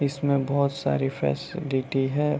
इसमें बहोत सारी फैसिलिटी है।